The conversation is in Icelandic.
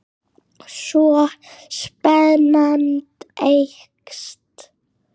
Svo spennan eykst.